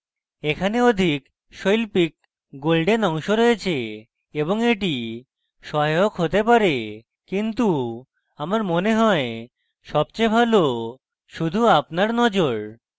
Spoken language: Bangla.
এখানে অধিক শৈল্পিক golden অংশ রয়েছে এবং এটি সহায়ক হতে পারে কিন্তু আমার মনে হয় সবচেয়ে ভালো শুধু আপনার নজর